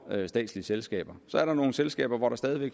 statslige selskaber så er der nogle selskaber hvor der stadig